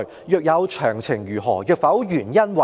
若有，詳情為何；若否，原因為何"？